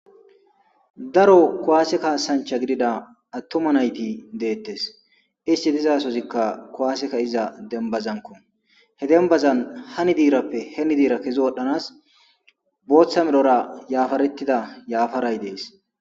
Daro kowaaseka sancha gidida attoma nayti deettes isti dizaasozikka kowaaseka iza dembazanko he denbazan hani diirappe heni diira kezo wodhdhanas booththa melora yaafarettida yaafaray dees